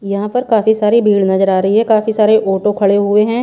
यहां पर काफी सारी भीड़ नजर आ रही है काफी सारे ऑटो खड़े हुए हैं।